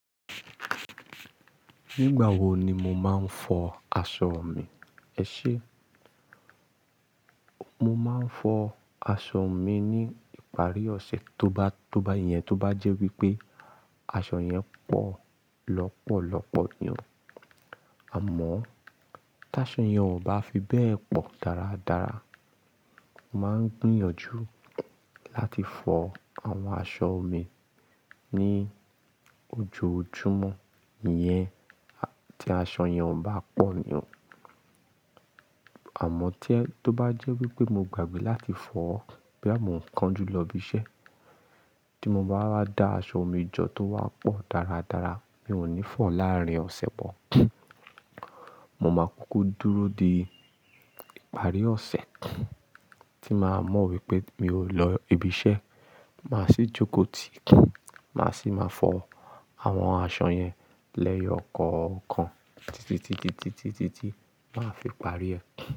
Nígbà wo ni mo máa ń fọ aṣọ mi, ẹ ṣe? Mo máa ń fọ aṣọ mi ní ìparí ọ̀sẹ̀ tó bá, tó bá yẹn, tó bá jẹ́ wípé aṣọ yẹn pọ̀ lọpọ̀lọpọ̀ ni o. Àmọ́ ta aṣọ yẹn ò bá fi bẹ́ẹ̀ pọ̀ dára dára, màá ń gbìyànjú~~ láti fọ àwọn aṣọ mi ní ojoojúmọ́, iyẹn tí aṣọ yẹn ò bá pọ̀ ni o. Àmọ́ tí ẹ, tó bá jẹ́ wípé mo gbàgbé láti fọ, boya mọ̀ ń kánjú lọ ibi iṣẹ́, tí mo bá rí dá aṣọ mi jọ tó wá pọ̀ dára dára, mi ò ní fọ láàárín ọ̀sẹ̀ mọ̀. Mo máa kuku dúró de ìparí ọ̀sẹ̀, tí màá mọ̀ wípé mi ò lọ ibi iṣẹ́, màá sì jókòó tìi, màá sì máa fọ àwọn aṣọ yẹn lẹ́yọ̀ kọ̀ọ̀kan títitíti ti máa fi parí ẹ.